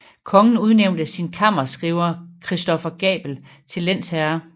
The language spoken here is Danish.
Kongen udnævnte sin kammerskriver Christoffer Gabel til lensherre